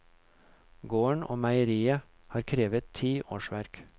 Gården og meieriet har krevet ti årsverk.